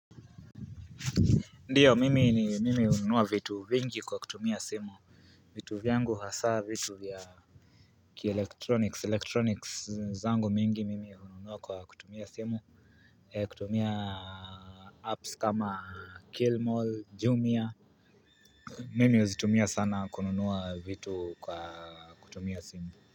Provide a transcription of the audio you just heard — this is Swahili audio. Ndiyo mimi ni mimi ununua vitu vingi kwa kutumia simu vitu vyangu hasaa vitu vya ki electronics zangu mingi mimi ununua kwa kutumia simu kutumia apps kama kilmall jumia mimi uzitumia sana kununua vitu kwa kutumia simu.